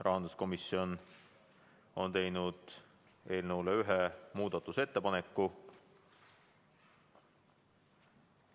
Rahanduskomisjon on teinud eelnõu kohta ühe muudatusettepaneku.